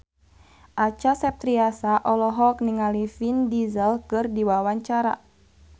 Acha Septriasa olohok ningali Vin Diesel keur diwawancara